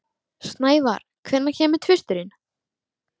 Snævar, hvenær kemur tvisturinn?